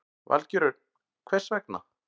Valgeir Örn: Hvers vegna?